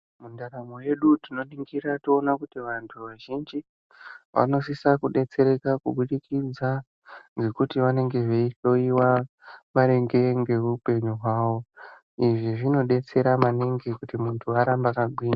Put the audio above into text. Muntaramo mwedu tinoringira toone kuti antu azhinji anosisa kudetsereka kubudikidza ngekuti vanenge veihloyiwa maringe ngeupenyu hwavo izvi zvinodetsera maningi kuti muntu arambe akagwinya.